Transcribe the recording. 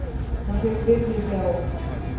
Hann fékk vinnu hjá